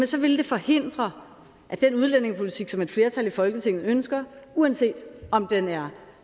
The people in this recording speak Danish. så vil det forhindre den udlændingepolitik som et flertal i folketinget ønsker uanset om den er